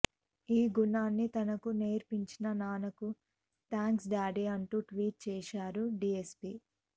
ఈ గుణాన్ని తనకు నేర్పించిన నాన్నకు థ్యాంక్స్ డాడీ అంటూ ట్వీట్ చేశారు డీఎస్పీ